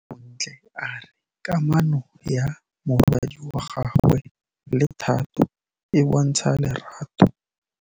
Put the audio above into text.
Bontle a re kamanô ya morwadi wa gagwe le Thato e bontsha lerato.